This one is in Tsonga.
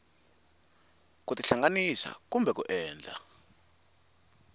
ku tihlanganisa kumbe ku endla